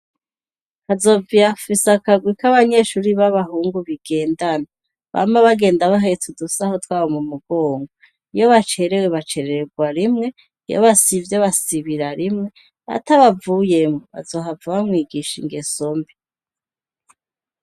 Hazoviyafise akagwik'abanyeshuri b'abahungu bigendana bama bagenda bahete udusaho twabo mu mugongo iyo bacerewe bacererwa rimwe iyo basivyr basibira rimwe atabavuyemwo bazohava bamwigisha ingeso mbi.